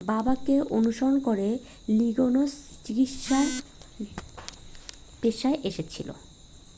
বাবাকে অনুসরণ করে লিগিনস চিকিৎসার পেশায় এসেছিল